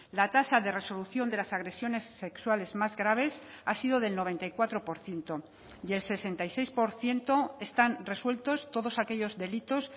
la tasa de resolución de las agresiones sexuales más graves ha sido del noventa y cuatro por ciento y el sesenta y seis por ciento están resueltos todos aquellos delitos